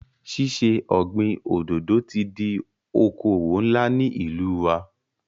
Ṣíṣe ọ̀gbin òdòdò ti di okòwò ńlá ní ìlú wa.